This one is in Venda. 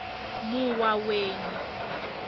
muwaweni